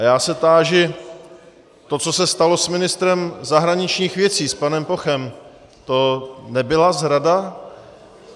A já se táži, to, co se stalo s ministrem zahraničních věcí, s panem Pochem - to nebyla zrada?